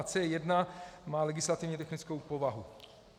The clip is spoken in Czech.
C1 má legislativně technickou povahu.